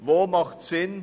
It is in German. Wo macht dies Sinn?